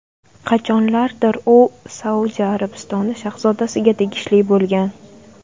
Qachonlardir u Saudiya Arabistoni shahzodasiga tegishli bo‘lgan.